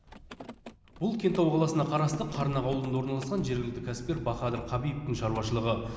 бұл кентау қаласына қарасты қарнақ ауылында орналасқан жергілікті кәсіпкер бахадыр хабибовтің шаруашылығы